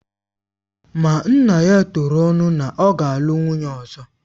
Ma nna ya turu ọnụ na ọ ga-alụ nwunye ọzọ